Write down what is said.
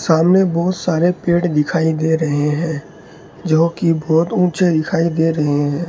सामने बहोत सारे पेड़ दिखाई दे रहे है जोकि बहोत ऊंचे दिखाई दे रहे हैं।